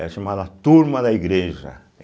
Era chamada a Turma da Igreja.